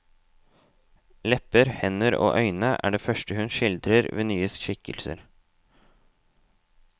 Lepper, hender og øyne er det første hun skildrer ved nye skikkelser.